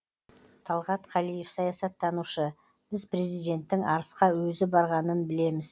талғат қалиев саясаттанушы біз президенттің арысқа өзі барғанын білеміз